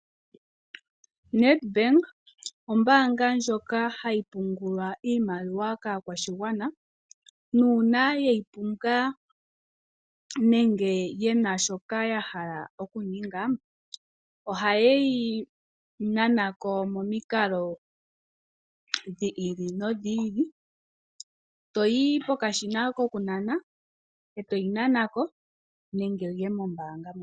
Nedbank ombaanga ndjoka hayi pungulwa iimaliwa kaakwashigwana, nuuna yeyi pumbwa nenge yena shoka yahala okuninga, oha yeyi nana ko momikalo dhi ili nodhi ili. Toyi pokashina koku nana e toyi nana ko nenge wuye mombaanga.